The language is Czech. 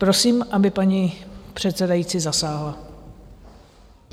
Prosím, aby paní předsedající zasáhla.